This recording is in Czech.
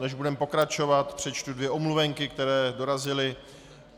Než budeme pokračovat, přečtu dvě omluvenky, které dorazily.